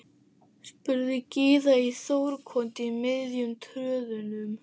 spurði Gyða í Þórukoti í miðjum tröðunum.